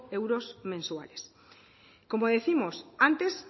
euros mensuales como décimos antes